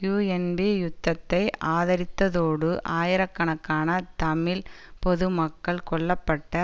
UNP யுத்தத்தை ஆதரித்ததோடு ஆயிரக்கணக்கான தமிழ் பொது மக்கள் கொல்ல பட்ட